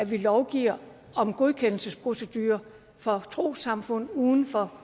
vi lovgiver om godkendelsesprocedurer for trossamfund uden for